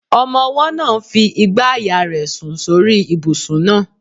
Ọmọ-ọwọ́ náà ń fi igbàyà rẹ̀ sùn sórí ibùsùn náà